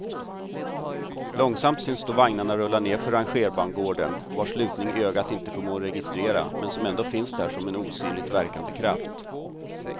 Långsamt syns då vagnarna rulla nedför rangerbangården, vars lutning ögat inte förmår registrera men som ändå finns där som en osynligt verkande kraft.